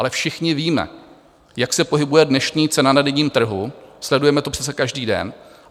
Ale všichni víme, jak se pohybuje dnešní cena na denním trhu, sledujeme to přece každý den.